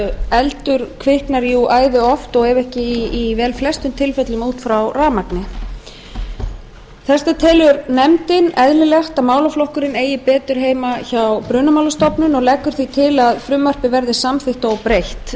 eldur kviknar jú æði oft og ef ekki í velflestum tilfellum út frá rafmagni þess vegna telur nefndin eðlilegt að málaflokkurinn eiga betur heima hjá brunamálastofnun og leggur því til að frumvarpið verði samþykkt óbreytt háttvirtur þingmaður